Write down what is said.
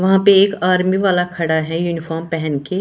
वहां पे एक आर्मी वाला खड़ा है यूनिफॉर्म पहन के।